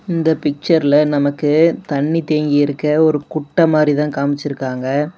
இந்த பிச்சர்ல நமக்கு தண்ணீ தேங்கி இருக்க ஒரு குட்ட மாறி தான் காமிச்சி இருக்காங்க.